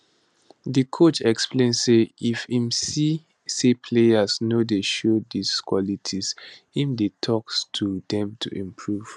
di coach explain say if im see say players no dey show dis qualities im dey tok to dem to improve